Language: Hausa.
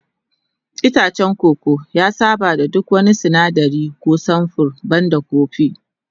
Itacen koko ya saba da duk wani sinadari ko samfur banda kofi